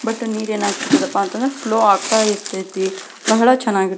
but ನೀರ್ ಏನ್ ಅಗಿದಪ್ಪ ಅಂತಂದ್ರ ಸ್ಲೋ ಆಗ್ತಾ ಇರತೈತಿ ಬಹಳ ಚೆನ್ನಗಿರ್ --